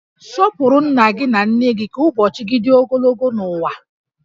Sọpụrụ nna gị na nne gị ka ụbọchị gị dị ogologo n'ụwa